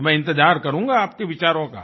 तो मैं इंतज़ार करूँगा आपके विचारों का